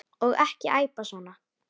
Og ekki æpa svona.